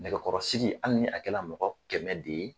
Nɛgɛkɔrɔsigi hali ni a kɛ la mɔgɔ kɛmɛ de ye.